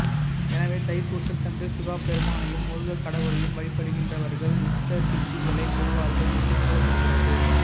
எனவே தைப்பூசத்தன்று சிவபெருமானையும் முருகக் கடவுளையும் வழிபடுகின்றவர்கள் இஷ்ட சித்திகளைப் பெறுவார்கள் என்று கூறப்படுகிறது